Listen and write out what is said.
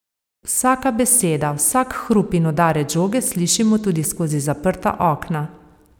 Vsaka beseda, vsak hrup in udarec žoge slišimo tudi skozi zaprta okna.